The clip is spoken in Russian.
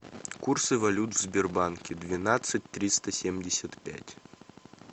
курсы валют в сбербанке двенадцать триста семьдесят пять